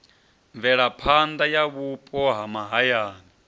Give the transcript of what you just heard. mvelaphanḓa ya vhupo ha mahayani